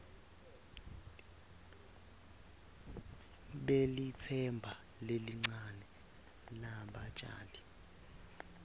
lelitsemba lelincane lebatjali